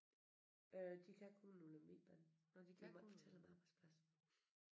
Øh de kan kun på Lemvigbanen vi må ikke fortælle om arbejdsplads